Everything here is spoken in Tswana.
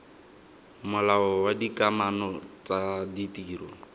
molao wa dikamano tsa ditiro